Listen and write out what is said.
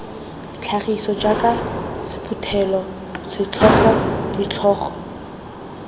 tlhagiso jaaka sephuthelo setlhogo ditlhogo